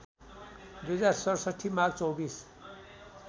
२०६७ माघ २४